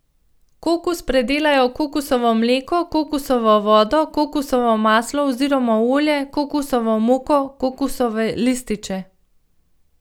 Kokos predelajo v kokosovo mleko, kokosovo vodo, kokosovo maslo oziroma olje, kokosovo moko, kokosove lističe ...